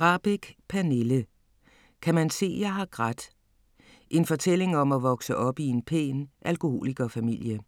Rahbek, Pernille: Kan man se jeg har grædt?: en fortælling om at vokse op i en pæn alkoholikerfamilie